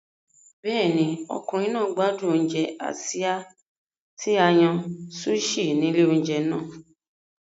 Bẹ́ẹ̀ni, ọkùnrin náà gbádùn oúnjẹ Asia tí a yàn sushi ní ilé oúnjẹ náà.